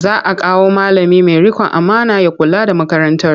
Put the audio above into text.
Za a kawo malami mai riƙon amana ya kula da makarantar.